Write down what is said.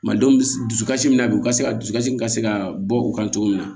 Malidenw bi dusukasi min na bi u ka se ka dusukasi min ka se ka bɔ u kan cogo min na